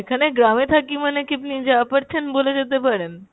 এখানে গ্রামে থাকি মানে কি আপনি যা পারছেন বলে যেতে পারেন?